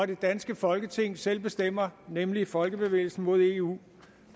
det danske folketing selv bestemmer nemlig folkebevægelsen mod eu